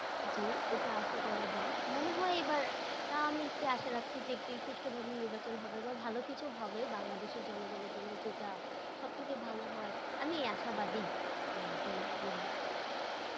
জি এইটা আশা করা যায়। মনে হয় এইবার, তাও আমি একটু আশা রাখছি যে একটি সুষ্ঠ ভাবে নির্বাচন হবে বা ভালো কিছু হবে বাংলাদেশের জনগনের জন্য যেটা সব থেকে ভালো হয়, আমি এই আশাবাদী, আমি এইটাই বলি।